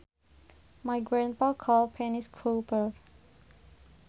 My grandpa calls pennies coppers